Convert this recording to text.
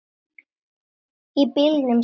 Í bílunum sínum.